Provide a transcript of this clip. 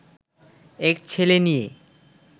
এক ছেলে নিয়ে